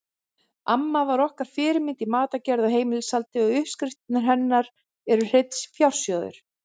Amma var okkar fyrirmynd í matargerð og heimilishaldi og uppskriftirnar hennar eru hreinn fjársjóður.